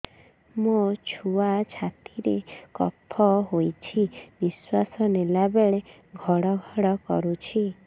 ମୋ ଛୁଆ ଛାତି ରେ କଫ ହୋଇଛି ନିଶ୍ୱାସ ନେଲା ବେଳେ ଘଡ ଘଡ କରୁଛି